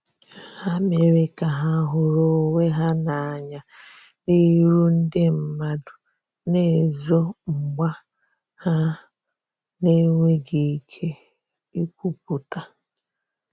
Ha mere ka ha huru onwe ha na anya n'iru ndi madu na ezo mgba ha n'enweghi ike ikwuputa.